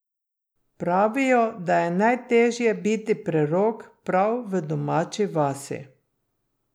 Pravijo, da je najtežje biti prerok prav v domači vasi.